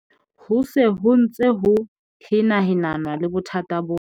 Ho se ho ntse ho henahenanwa le bothata bona.